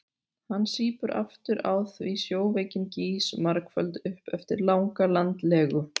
Hann sýpur aftur á því sjóveikin gýs margföld upp eftir langa landlegu.